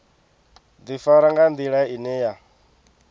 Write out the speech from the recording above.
ḓifara nga nḓila ine ya